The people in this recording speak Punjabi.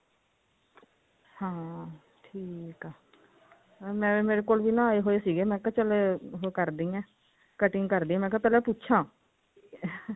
ਹਾਂ ਠੀਕ ਹੈ ਮੇਰੇ ਕੋਲ ਵੀ ਨਾ ਆਏ ਹੋਏ ਸੀ ਮੈਂ ਕਿਹਾ ਚੱਲ ਉਹ ਕਰਦੀ ਹਾਂ cutting ਕਰਦੀ ਹਾਂ ਮੈਂ ਕਿਹਾ ਪਹਿਲਾਂ ਪੁੱਛਾ